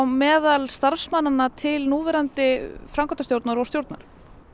meðal starfsmannanna til núverandi framkvæmdastjórnar og stjórnar